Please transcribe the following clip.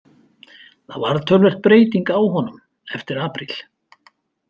Það varð töluverð breyting á honum eftir apríl.